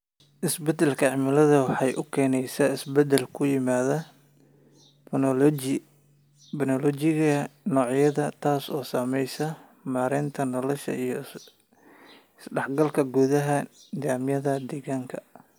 Isbeddelka cimiladu waxa uu keenayaa isbeddel ku yimaada phenology-ga noocyada, taas oo saamaysa meertada noloshooda iyo is-dhexgalka gudaha nidaamyada deegaanka.